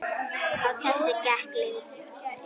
Á þessu gekk lengi.